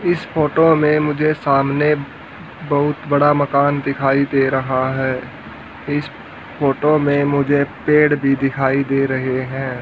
इस फोटो में मुझे सामने बहुत बड़ा मकान दिखाई दे रहा है इस फोटो में मुझे पेड़ भी दिखाई दे रहे हैं।